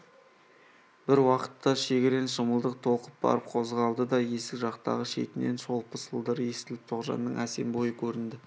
бір уақытта шегірен шымылдық толқып барып қозғалды да есік жақтағы шетінен шолпы сылдыры естіліп тоғжанның әсем бойы көрінді